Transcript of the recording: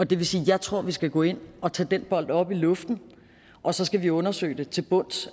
det vil sige at jeg tror at vi skal gå ind og tage den bold op i luften og så skal vi undersøge det til bunds